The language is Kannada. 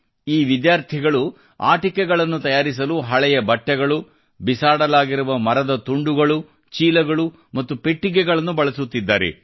ಈ ವಿದ್ಯಾರ್ಥಿಗಳು ಆಟಿಕೆಗಳನ್ನು ತಯಾರಿಸಲು ಹಳೆಯ ಬಟ್ಟೆಗಳು ಬಿಸಾಡಲಾಗಿರುವ ಮರದ ತುಂಡುಗಳು ಚೀಲಗಳು ಮತ್ತು ಪೆಟ್ಟಿಗೆಗಳನ್ನು ಬಳಸುತ್ತಿದ್ದಾರೆ